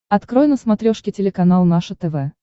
открой на смотрешке телеканал наше тв